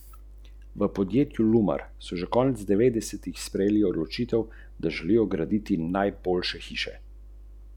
Pravite, da so vas prsti boleli, kot bi bili zlomljeni, pa niso bili.